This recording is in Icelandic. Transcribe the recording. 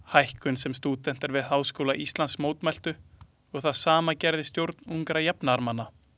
Hækkun sem stúdentar við Háskóla Íslands mótmæltu og það sama gerði stjórn Ungra jafnaðarmanna.